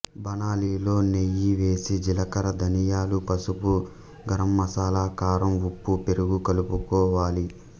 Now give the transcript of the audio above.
బాణలిలో నెయ్యి వేసి జీలకర్ర ధనియాలు పసుపు గరంమసాలా కారం ఉప్పు పెరుగు కలుపు కోవాలి